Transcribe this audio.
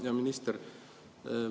Hea minister!